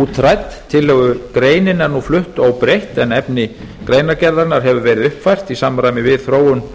útrædd tillögugreinin er nú flutt óbreytt en efni greinargerðarinnar hefur verið uppfært í samræmi við þróun